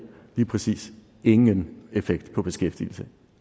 lige præcis ingen effekt på beskæftigelsen